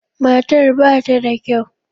Matar ba ta da kyau.